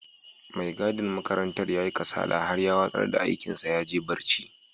Mai gadin makarantar ya yi kasala har ya watsar da aikin sa ya je barci.